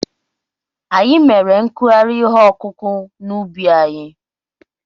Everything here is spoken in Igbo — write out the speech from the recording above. Anyị mere nkụgharị ihe ọkụkụ̀ n'ubi anyị.